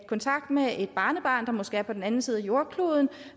i kontakt med et barnebarn der måske er på den anden side af jordkloden